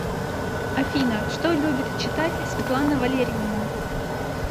афина что любит читать светлана валерьевна